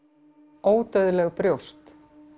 ódauðleg brjóst